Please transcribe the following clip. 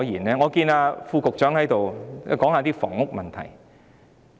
我看見副局長在席，便也談談房屋問題。